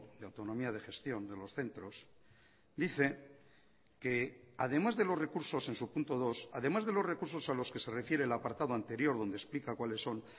de autonomía de gestión de los centros dice que además de los recursos en su punto dos además de los recursos a los que se refiere el apartado anterior donde explica cuáles son